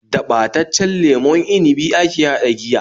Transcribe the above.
Da ɓataccen lemon inibi ake haɗa giya